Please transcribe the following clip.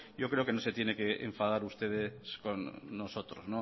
yo creo que no tiene que enfadar ustedes con nosotros